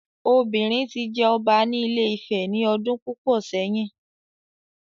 Obìnrin ti jẹ ọba ní Ile Ife ní ọdún púpọ̀ sẹ́yìn